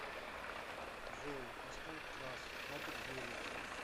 джой поставь трас катит гелик